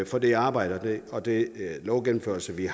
for det arbejde og den lovgennemførelse vi